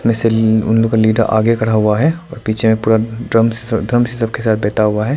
वैसे ली उन लोगों का लीडर आगे खड़ा हुआ है और पीछे पूरा ड्रम से ड्रम से सबके साथ बैठा हुआ है।